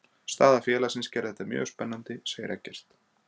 Staða félagsins gerði þetta mjög spennandi, segir Eggert.